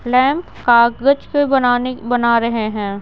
Lamp कागज के बनाने बना रहे हैं।